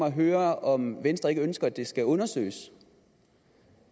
at høre om venstre ikke ønsker at det skal undersøges